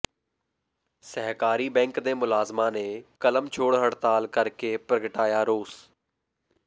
ਸਹਿਕਾਰੀ ਬੈਂਕ ਦੇ ਮੁਲਾਜ਼ਮਾਂ ਨੇ ਕਲਮ ਛੋੜ ਹੜ੍ਹਤਾਲ ਕਰ ਕੇ ਪ੍ਰਗਟਾਇਆ ਰੋਸ